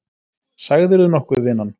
Sagðirðu nokkuð vinan?